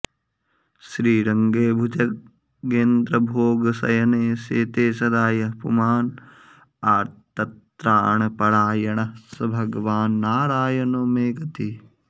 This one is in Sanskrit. श्रीरङ्गे भुजगेन्द्रभोगशयने शेते सदा यः पुमान् आर्तत्राणपरायणः स भगवान्नारायणो मे गतिः